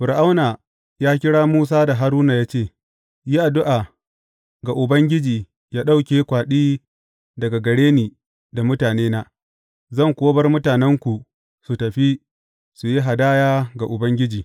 Fir’auna ya kira Musa da Haruna ya ce, Yi addu’a ga Ubangiji yă ɗauke kwaɗi daga gare ni da mutanena, zan kuwa bar mutanenku su tafi su yi hadaya ga Ubangiji.